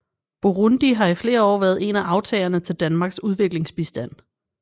Burundi har i flere år været en af aftagerne til Danmarks udviklingsbistand